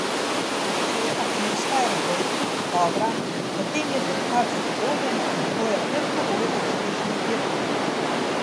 Če je atmosfera v ekipi dobra, potem je dirkač zadovoljen in to je predpogoj za uspešno dirkanje.